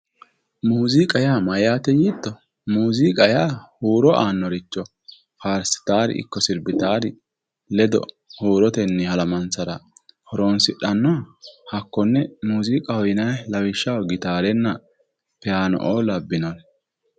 muziiqa yaa mayyaate yiitto muziiqa yaa huro aannoricho faarsitaari ikko sirbitaari ledo huurotenni halamansara horoonsidhannoha hakkonne muuziiqaho yinayi lawishshaho gitaarenna piyaano''o labbinnore